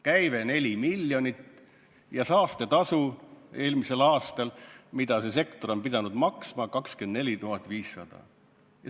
Käive on 4 miljonit ja saastetasu eelmisel aastal, mida see sektor pidi maksma, oli 24 500!